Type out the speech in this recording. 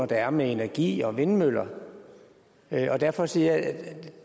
der er med energi og vindmøller derfor siger jeg